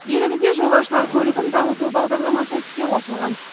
елімізде жолаушылар көлігін дамыту бағдарламасы іске қосылған